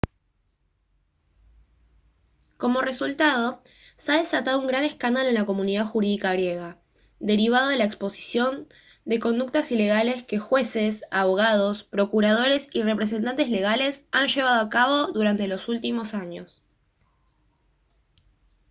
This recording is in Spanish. como resultado se ha desatado un gran escándalo en la comunidad jurídica griega derivado de la exposición de conductas ilegales que jueces abogados procuradores y representantes legales han llevado a cabo durante los últimos años